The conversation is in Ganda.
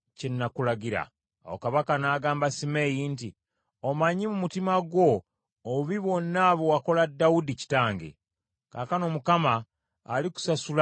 Awo kabaka n’agamba Simeeyi nti, “Omanyi mu mutima gwo obubi bwonna bwe wakola Dawudi kitange. Kaakano Mukama alikusasula olw’obubi bwo.